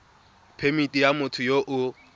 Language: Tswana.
phemithi ya motho yo o